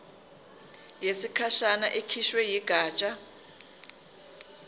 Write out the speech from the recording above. yesikhashana ekhishwe yigatsha